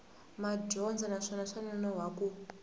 madyondza naswona swa nonoha ku